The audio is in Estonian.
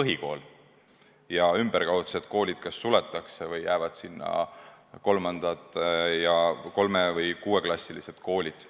põhikool ja ümberkaudsed koolid kas suletakse või jäävad sinna 3- või 6-klassilised koolid.